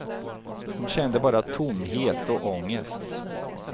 Hon kände bara tomhet och ångest.